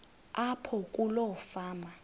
apho kuloo fama